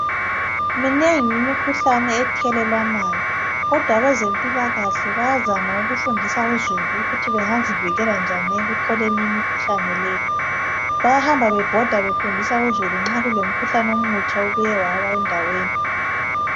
Minengi imikhuhlane ethelelwanayo kodwa abezempilakahle bayazama ukufundisa uzulu ukuthi bengazivikela njani ekutholeni imikhuhlane leyi. Bayahamba bebhoda befundisa uzulu nxa kulomkhuhlane omutsha obuye wawa endaweni.